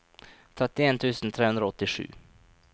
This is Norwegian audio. trettien tusen tre hundre og åttisju